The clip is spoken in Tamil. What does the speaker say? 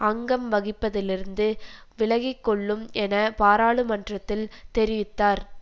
அங்கம் வகிப்பதிலிருந்து விலகிக்கொள்ளும் என பாராளுமன்றத்தில் தெரிவித்தார்